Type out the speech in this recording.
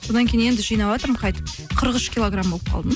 содан кейін енді жинаватырмын қайтіп қырық үш килограмм болып қалдым